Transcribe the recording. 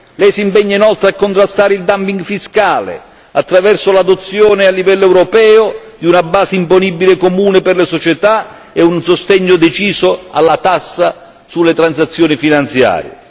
Lei si impegna inoltre a contrastare il dumping fiscale, attraverso l'adozione a livello europeo di una base imponibile comune per le società e un sostegno deciso alla tassa sulle transazioni finanziarie.